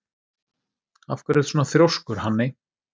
Af hverju ertu svona þrjóskur, Hanney?